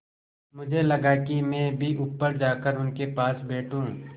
मुझे लगा कि मैं भी ऊपर जाकर उनके पास बैठूँ